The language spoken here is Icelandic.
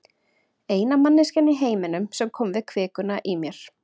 Eina manneskjan í heiminum sem kom við kvikuna í mér.